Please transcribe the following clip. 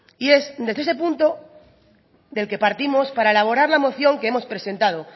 y es desde este punto del que partimos para elaborar la moción que hemos presentado